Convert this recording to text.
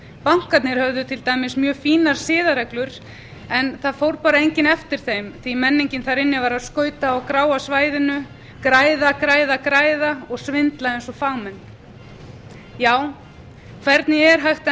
bankarnir höfðu til dæmis mjög fínar siðareglur en það fór bara enginn eftir þeim því að menningin þar inna var að skauta á gráa svæðinu græða græða græða og svindla eins og fagmenn já hvernig er hægt að